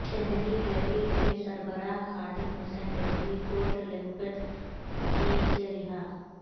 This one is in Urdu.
تحریک لبیک کے سربراہ خادم حسین رضوی کوٹ لکھپت جیل سے رہا